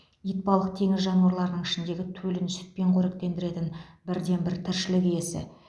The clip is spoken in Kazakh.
итбалық теңіз жануарларының ішіндегі төлін сүтпен қоректендіретін бірден бір тіршілік иесі